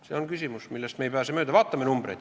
See on küsimus, millest me ei pääse mööda.